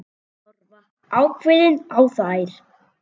Horfa ákveðin á þær.